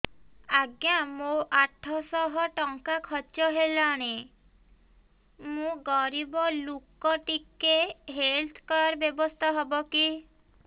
ଆଜ୍ଞା ମୋ ଆଠ ସହ ଟଙ୍କା ଖର୍ଚ୍ଚ ହେଲାଣି ମୁଁ ଗରିବ ଲୁକ ଟିକେ ହେଲ୍ଥ କାର୍ଡ ବ୍ୟବସ୍ଥା ହବ କି